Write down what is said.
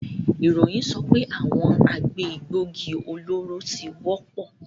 Iroyin sope awon agbe egbogi oloro ti wopo